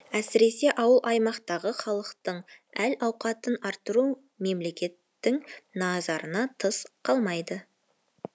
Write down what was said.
әсіресе ауыл аймақтағы халықтың әл ауқатын арттыру мемлекеттің назарынан тыс қалмайды